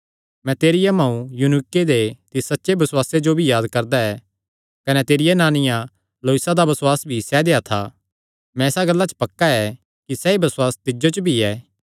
मैं तेरिया मांऊ यूनीके दे तिस सच्चे बसुआसे जो भी याद करदा ऐ कने तेरिया नानिया लोईसा दा बसुआस भी सैदेया था मैं इसा गल्ला च पक्का ऐ कि सैई बसुआस तिज्जो च भी ऐ